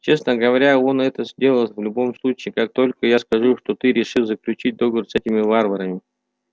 честно говоря он это сделает в любом случае как только я скажу что ты решил заключить договор с этими варварами